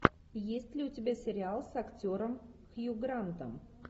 есть ли у тебя сериал с актером хью грантом